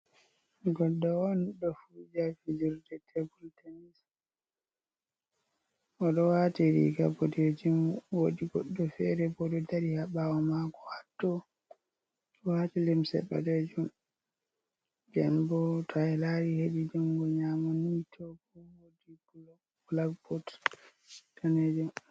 Goldo on ɗo fu jafe jurde tebl tenis o do wati ri ka botejin wodi goɗɗo fere boɗo dari ha ɓawo mako haɗo ɗo watilimse ɓalejum benbo tai lari hedi jungo nyamo ni toɓo woɗi blakboots tnej.